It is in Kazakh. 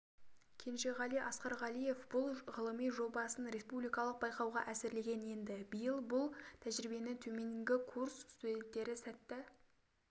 кенжеғали асқарғалиев бұл ғылыми жобасын республикалық байқауға әзірлеген енді биыл бұл тәжірибені төменгі курс студенттері сәтті